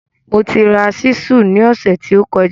Mo ti ra ṣísù ní ọ̀sẹ̀ tí ó kọjá